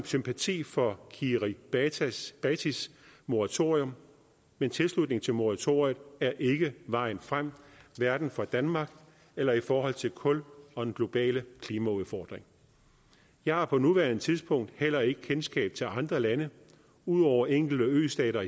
sympati for kiribatis moratorium men tilslutning til moratoriet er ikke vejen frem hverken for danmark eller i forhold til kul og den globale klimaudfordring jeg har på nuværende tidspunkt heller ikke kendskab til andre lande ud over enkelte østater